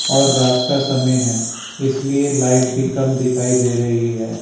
और रात का समय है इसलिए लाइट कम दिखाई दे रही है।